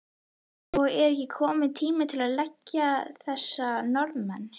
Og er ekki kominn tími til að leggja þessa Norðmenn?